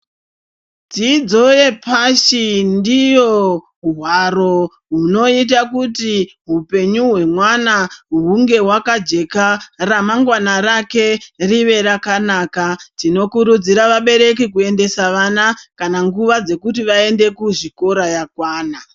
Dzidzo yepashi ndiyo hwaro hunoita kuti hupenyu hwemwana hunge hwakajeka ramangwana rake ringe rakanaka. Tinokurudzire vabereki kuendesa vana kana nguva yekuti vaende kuzvikora yakwana.